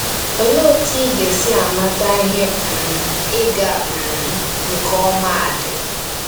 Olee otú ị ga-esi mata ihe um ịga um nke ọma di?